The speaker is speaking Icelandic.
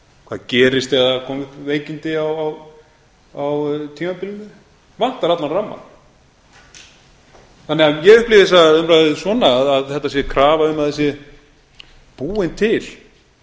hvað gerist ef það koma upp veikindi á tímabilinu það vantar allan ramma ég upplifi þessa umræðu svona að þetta sé krafa um að það sé búinn til